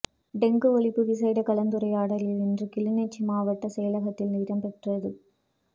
dengue ஒழிப்பு விசேட கலந்துரையாடல் இன்று கிளிநொச்சி மாவட்ட செயலகத்தில் இடம்பெற்றது